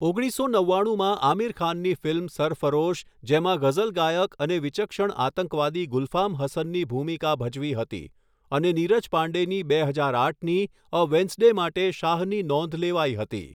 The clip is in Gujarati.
ઓગણીસો નવ્વાણુમાં આમિર ખાનની ફિલ્મ સરફરોશ જેમાં ગઝલ ગાયક અને વિચક્ષણ આતંકવાદી ગુલફામ હસનની ભૂમિકા ભજવી હતી અને નીરજ પાંડેની બે હજાર આઠની અ વેન્સ્ડે માટે શાહની નોંધ લેવાઈ હતી.